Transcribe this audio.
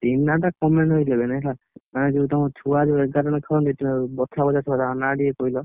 Team ନାଁ ଟା comando eleven ହେଲା, ମାନେ ଯୋଉ ତମ ଛୁଆ ଯୋଉ ଏଗାର ଜଣ ବଛାବଛା ଛୁଆ ତାଙ୍କ ନାଁ ଟିକେ କହିଲ।